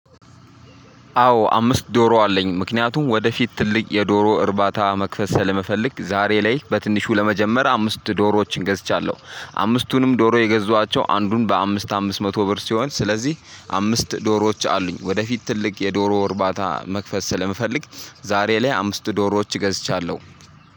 አዎ አምስት ዶሮ አለኝ ምክንያቱም ወደፊት ትልቅ የዶሮ እርባታ መክፈት ስለመፈለግ ዛሬ ላይ በትንሹ ለመጀመር አምስት ዶሮዎችን ገዝቻለሁ አምስቱንም ዶሮ የገዟቸው አንዱን በአምስት አምስት መቶ ብር ሲሆን ስለዚህ አምስት ዶሮዎች አሉኝ። ወደፊት ትልቅ የዶሮ እርባታ መክፈት ስለምፈልግ ዛሬ ላይ አምስት ዶሮዎች ገዝቻለሁ።